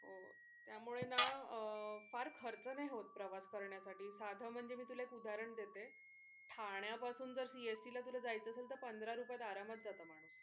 त्यामुळे ना फार खर्च नाही होत प्रवास करण्या साठी साधं म्हणजे मी तुला उदाहरण देते ठाण्यापासून जर CST ला तुला जायचं असेल तर पंधरा रुपयात आरामात जाशील.